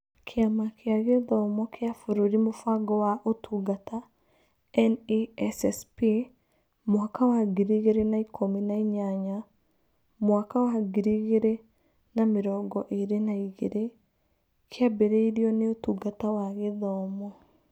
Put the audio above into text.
Kĩama kĩa Gĩthomo gĩa Bũrũri Mũbango wa Ũtungata (NESSP) mwaka wa ngiri igĩrĩ na ikũmi na inyanya-mwaka wa ngiri igĩrĩ na mĩrongo ĩĩrĩ na igĩrĩ kĩambĩrĩirio nĩ Ũtungata wa Gĩthomo